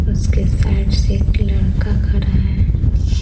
उसके साइड से एक लड़का खड़ा है।